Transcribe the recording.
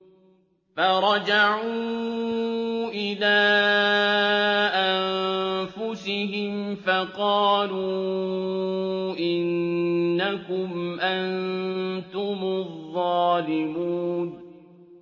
فَرَجَعُوا إِلَىٰ أَنفُسِهِمْ فَقَالُوا إِنَّكُمْ أَنتُمُ الظَّالِمُونَ